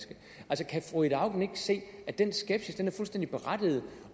fru ida auken ikke se at den skepsis er fuldstændig berettiget